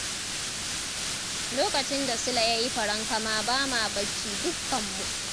Lokacin da Sule ya yi farankama ba ma bacci dukkanmu.